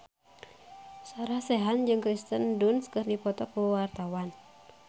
Sarah Sechan jeung Kirsten Dunst keur dipoto ku wartawan